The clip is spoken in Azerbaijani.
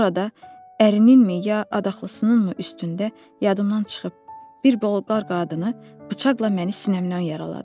Orada ərininmi ya adaxlısınınmı üstündə yadımdan çıxıb bir bolqar qadını bıçaqla məni sinəmdən yaraladı.